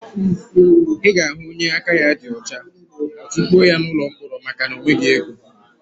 Ị ga-ahụ onye aka ya dị ọcha, a tukpuo ya n'ụlọ mkpọrọ maka na ọ nweghị ego.